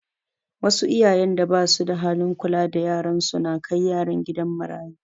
Wasu iyayen da basu da halin kula da yaran su na kai yaran kidan marayu